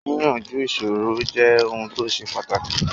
Yíyanju ìṣòro jẹ ohun ti ó ṣe pàtàkì